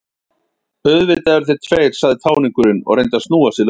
Auðvitað eru þeir tveir, sagði táningurinn og reyndi að snúa sig lausan.